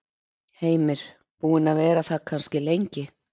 Heimir: Búin að vera það kannski lengi?